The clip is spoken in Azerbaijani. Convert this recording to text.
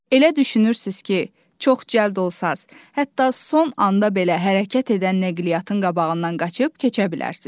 Elə düşünürsüz ki, çox cəld olsanız, hətta son anda belə hərəkət edən nəqliyyatın qabağından qaçıb keçə bilərsiz.